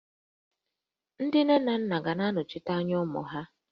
Ndị nne na nna ga-anọchite anya ụmụ ha